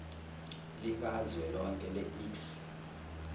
likazwelonke le iks